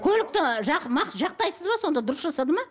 көлікті жақтайсыз ба сонда дұрыс жасады ма